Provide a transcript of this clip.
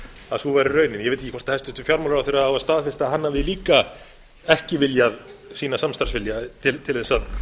að sú væri raunin ég veit ekki hvort hæstvirtur fjármálaráðherra á að staðfesta að hann hafi líka ekki viljað sýna samstarfsvilja til þess að